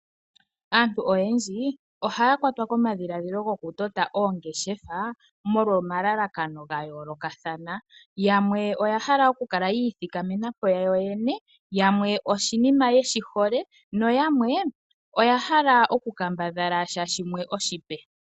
Aantu oyendji ohaya kwatwa komadhiladjilo go ku tota oongeshefa molwa omalalakano ga yoolokathana. Yamwe oya hala okukala ya ithikamena po yoyene, yamwe oshinima yeshi hole, na yamwe oya hala okukambadhala sha shimwe oshipe.